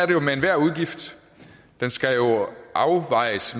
jo med enhver udgift den skal afvejes